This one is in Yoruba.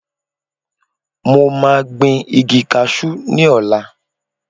Mo máa gbìn igi kasú ní ọ̀la